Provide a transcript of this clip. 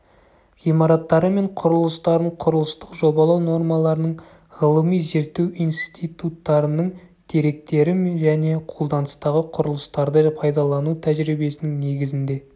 ғимараттары мен құрылыстарын құрылыстық жобалау нормаларының ғылыми-зерттеу институттарының деректері және қолданыстағы құрылыстарды пайдалану тәжірибесінің негізінде